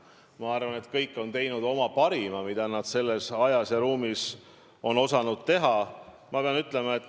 Ma arvan, et kõik on andnud oma parima, mida nad selles ajas ja ruumis on osanud anda.